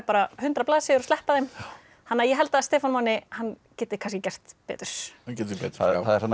hundrað blaðsíður og sleppa þeim þannig að ég held að Stefán Máni geti kannski gert betur það er þarna